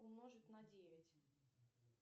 умножить на девять